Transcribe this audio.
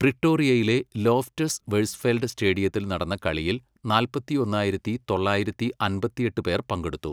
പ്രിട്ടോറിയയിലെ Loftus Versfeld സ്റ്റേഡിയത്തിൽ നടന്ന കളിയിൽ നാൽപ്പത്തൊന്നായിരത്തി തൊള്ളായിരത്തി അമ്പത്തിയെട്ട് പേർ പങ്കെടുത്തു.